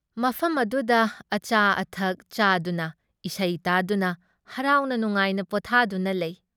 ꯃꯐꯝ ꯑꯗꯨꯗ ꯑꯆꯥ ꯑꯊꯛ ꯆꯥꯗꯨꯅ, ꯏꯁꯩ ꯇꯥꯗꯨꯅ ꯍꯔꯥꯎꯅ ꯅꯨꯡꯉꯥꯏꯅ ꯄꯣꯠꯊꯥꯗꯨꯅ ꯂꯩ ꯫